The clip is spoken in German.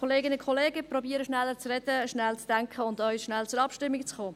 Ich versuche schneller zu sprechen, schnell zu denken und auch schnell zur Abstimmung zu kommen.